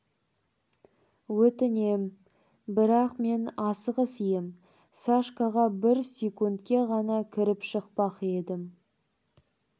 өтінем бірақ мен асығыс ем сашкаға бір секундке ғана кіріп шықпақ ем